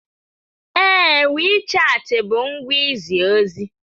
Ee, WeChat bụ ngwa izi ozi.